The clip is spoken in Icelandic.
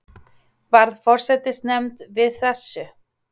Varð forsætisnefnd við þessu